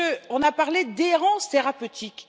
On a parlé d'errance thérapeutique.